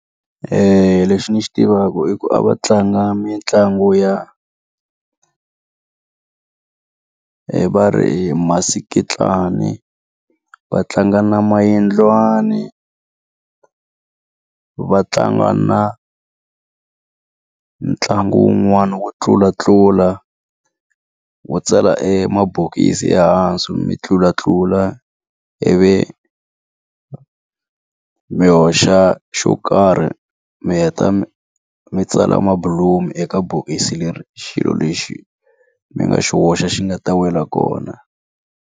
Lexi ndzi xi tivaka i ku a va tlanga mitlangu ya va ri i masikitlani, va tlanga na mayindliwani, a va tlanga na ntlangu wun'wana wo tlulatlula, wo tsala emabokisi ehansi mi tlulatlula ivi mi hoxa xo karhi mi heta mi tsala mabulomu eka bokisi leri xilo lexi mi nga xi hoxa xi nga ta wela kona.